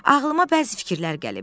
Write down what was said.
Ağlıma bəzi fikirlər gəlib.